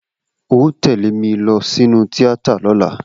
O óò tẹ̀lé mi lọ sínú tíátà lọ́la!